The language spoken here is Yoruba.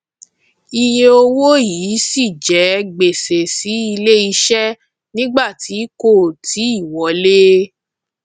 iye owó yìí ṣì jẹ gbèsè sí ilé iṣẹ nígbà tí kò ì tíì wọlé